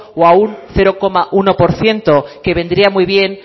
o a un cero coma uno por ciento que vendría muy bien